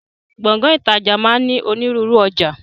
Gbọ̀ngán ìtajà máa ń ní ònírunru ọjà